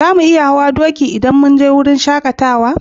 Za mu iya hau doki idan mun je wurin shakatawan?